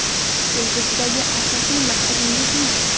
Kelgusidagi asosiy maqsadingiz nima?